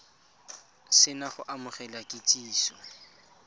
se na go amogela kitsiso